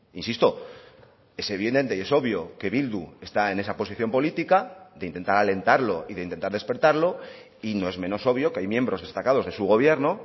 insisto es evidente y es obvio que bildu está en esa posición política de intentar alentarlo y de intentar despertarlo y no es menos obvio que hay miembros destacados de su gobierno